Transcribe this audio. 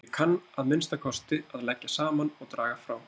Ég kann að minnsta kosti að leggja saman og draga frá